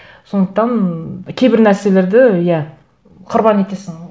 сондықтан кейбір нәрселерді иә құрбан етесің